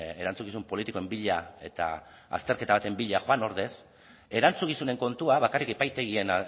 erantzukizun politikoen bila eta azterketa baten bila joan ordez erantzukizunen kontua bakarrik epaitegien